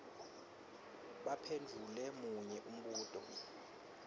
baphendvule munye umbuto